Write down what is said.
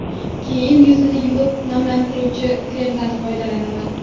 Keyin yuzni yuvib, namlantiruvchi kremdan foydalanaman.